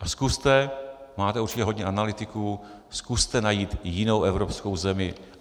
A zkuste, máte určitě hodně analytiků, zkuste najít jinou evropskou zemi.